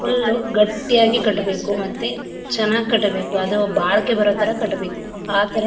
full ಗಟ್ಟಿಯಾಗಿ ಕಟ್ಟಬೇಕು ಮತ್ತೆ ಚನಾಗ್ ಕಟ್ಟಬೇಕು ಅದು ಬಾಳ್ಕೆ ಬರೋ ಥರ ಕಟ್ಟಬೇಕು ಆ ಥರ--